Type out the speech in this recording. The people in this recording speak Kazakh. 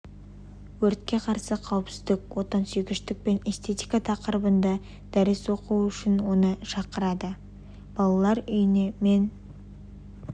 өртке қарсы қауіпсіздік отансүйгіштік пен эстетика тақырыбында дәріс оқуы үшін оны шақырады балалар үйіне мен